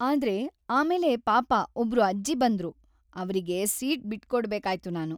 ಆದ್ರೆ ಆಮೇಲೆ ಪಾಪ ಒಬ್ರು ಅಜ್ಜಿ ಬಂದ್ರು, ಅವ್ರಿಗೆ ಸೀಟ್‌ ಬಿಟ್ಟ್‌ಕೊಡ್ಬೇಕಾಯ್ತು ನಾನು.